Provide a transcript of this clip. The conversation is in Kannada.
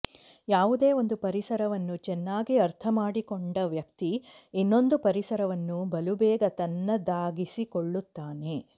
ಯಾವುದೇ ಒಂದು ಪರಿಸರವನ್ನು ಚೆನ್ನಾಗಿ ಅರ್ಥ ಮಾಡಿಕೊಂಡ ವ್ಯಕ್ತಿ ಇನ್ನೊಂದು ಪರಿಸರವನ್ನು ಬಲುಬೇಗ ತನ್ನದಾಗಿಸಿಕೊಳ್ಳುತ್ತಾನೆ